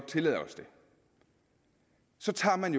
tillade os det så tager man